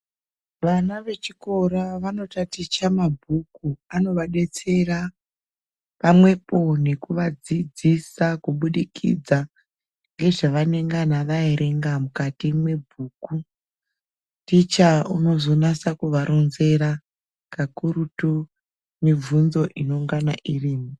Vana vechikora vanotaticha mabhuku. Anovadetsera pamwepo nekuvadzidzisa kubudikidza ngezvavanengana vaverenga mwukati mwebhuku. Ticha unozonasa kuvaronzera kakurutu mibvunzo inongana irimwo.